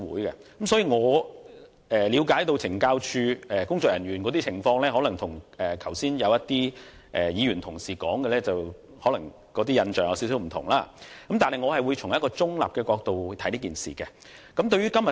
因此，我所了解的懲教署人員的工作情況，可能與一些議員同事剛才提及的印象有點不同，但我會從一個中立的角度來審議這議案。